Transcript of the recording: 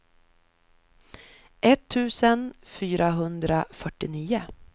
etttusen fyrahundrafyrtionio